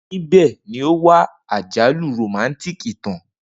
Nibẹ ni o wa ajalu romantic itan.